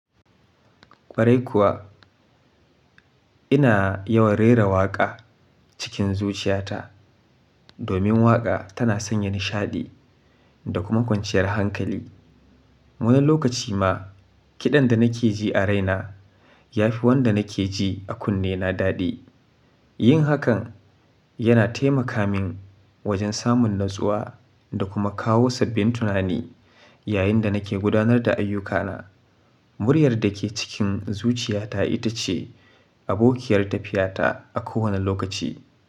Kwarai kuwa, ina yawan rera waƙa cikin zuciyata domin waƙa tana sanya nishaɗi da kuma kwanciyar hankali. Wani lokaci ma kiɗan da nake ji a raina ya fi wanda nake ji a kunne na daɗi. Yin hakan yana taimaka min wajen samun natsuwa da kuma kawo sabbin tunani yayin da nake gudanar da ayyukana. Muryar da ke cikin zuciyata ita ce abokiyar tafiyata a kowane lokaci.